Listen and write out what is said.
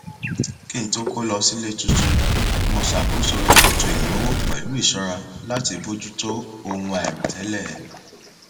kí n tó kó lọ sí ilé tuntun mo ṣakoso ètò ìnáwó pẹlú ìṣọra láti bójú tó ohun àìròtẹlẹ